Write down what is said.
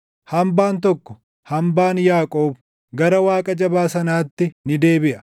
Hambaan tokko, hambaan Yaaqoob gara Waaqa Jabaa sanaatti ni deebiʼa.